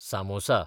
samosa